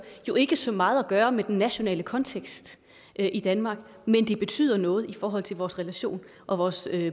jo ikke så meget at gøre med den nationale kontekst i danmark men det betyder noget i forhold til vores relation og vores